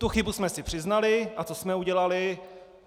Tu chybu jsme si přiznali - a co jsme udělali?